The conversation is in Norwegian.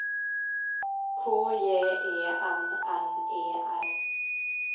K J E N N E R